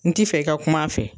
N ti fɛ i ka kum'a fɛ.